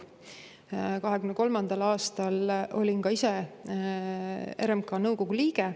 2023. aastal olin ka ise RMK nõukogu liige.